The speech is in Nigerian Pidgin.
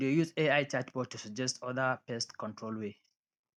we dey use ai chatbot to suggest other pest control way